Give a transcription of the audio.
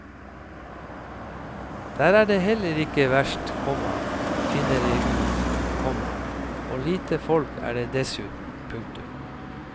Der er det heller ikke verst, komma finner jeg ut, komma og lite folk er det dessuten. punktum